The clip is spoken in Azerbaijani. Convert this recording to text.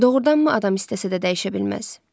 Doğrudanmı adam istəsə də dəyişə bilməz?